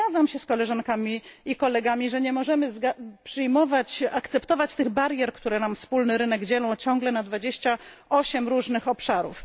Zgadzam się z koleżankami i kolegami, że nie możemy przyjmować ani akceptować tych barier, które nam wspólny rynek dzielą ciągle na 28 różnych obszarów.